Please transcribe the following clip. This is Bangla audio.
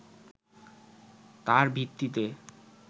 তার ভিত্তিতে